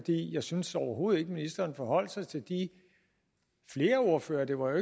jeg synes overhovedet ikke ministeren forholdt sig til de ordførere det var jo